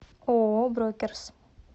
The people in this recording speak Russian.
ооо брокерс